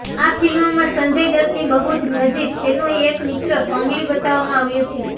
આ ફિલ્મમાં સંજય દત્તની બહુ જ નજીક તેનો એક મિત્ર કમલી બતાવવામાં આવ્યો છે